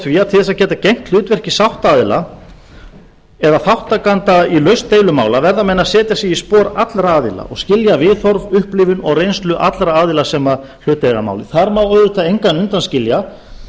því að til þess að geta gegnt hlutverki sáttaaðilaeða þátttakanda í lausn deilumála verða menn að setja sig í spor allra aðila og skilja viðhorf upplifun og reynslu allra aðila sem hlut eiga að máli þar má auðvitað engan undanskilja